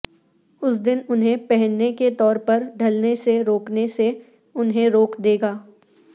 اس دن انہیں پہننے کے طور پر ڈھلنے سے روکنے سے انہیں روک دے گا